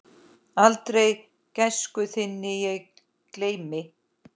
Aldrei gæsku þinni ég gleymi.